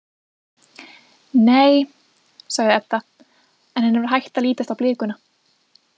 Nei, sagði Edda en henni var hætt að lítast á blikuna.